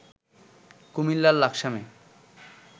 কুমিল্লার লাকসামে